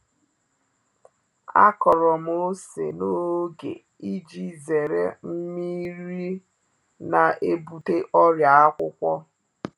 A kọrọ m ose n’oge iji zere nmiri nmiri na-ebute ọrịa akwụkwọ